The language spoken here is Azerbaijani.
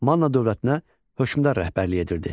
Manna dövlətinə hökmdar rəhbərlik edirdi.